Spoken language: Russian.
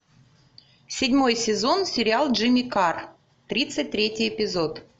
седьмой сезон сериал джимми карр тридцать третий эпизод